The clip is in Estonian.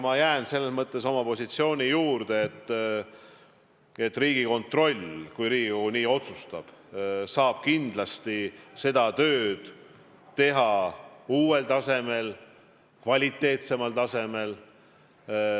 Ma jään selles mõttes oma positsiooni juurde, et Riigikontroll, kui Riigikogu nii otsustab, saab kindlasti seda tööd teha uuel ja kvaliteetsemal tasemel.